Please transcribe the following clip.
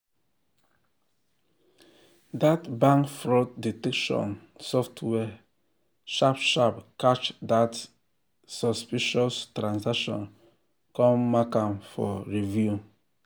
that bank fraud detection software sharp sharp catch that suspicious transaction come mark am for review.